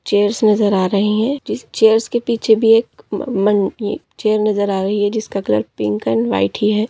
Chairs नजर आ रहे है चेयर्स के पीछे भी एक मन न चेयर नजर आ रही है जिसका कलर पिंक अँड व्हाइट ही है।